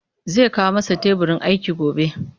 Zai kawo masa teburin aiki gobe